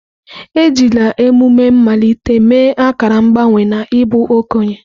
Ejila emume mmalite mee akara mgbanwe n'ịbụ okenye.